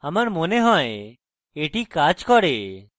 আমার মনে হয় এটি কাজ করে